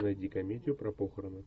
найди комедию про похороны